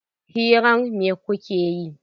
Hirar me kuke yi?